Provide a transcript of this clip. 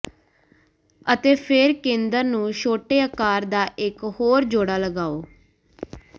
ਅਤੇ ਫਿਰ ਕੇਂਦਰ ਨੂੰ ਛੋਟੇ ਆਕਾਰ ਦਾ ਇਕ ਹੋਰ ਜੋੜਾ ਲਗਾਓ